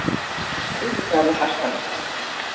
Auðvitað er það harkalegt.